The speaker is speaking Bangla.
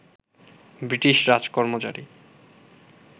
ব্রিটিশ রাজকর্মচারী